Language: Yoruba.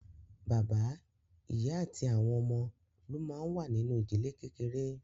Bàbá, ìyá àti àwọn ọmọ ló máa ń wà nínú ìdílé kékeré.